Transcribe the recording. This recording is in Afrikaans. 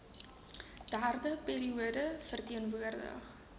derde periode verteenwoordig